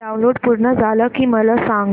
download पूर्ण झालं की मला सांग